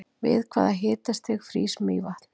við hvaða hitastig frýs mývatn